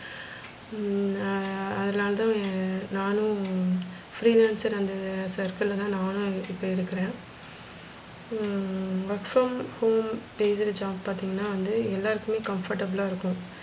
ஹம் ah அதனால தான் நானும் ஹம் free lancer அந்த circle ல தான் நானும் இருக்குறே hmm work from homebased job பாத்திங்கனா வந்து எல்லாருக்குமே comfortable லா இருக்கும்.